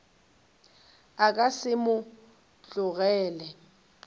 a ka se mo tlogele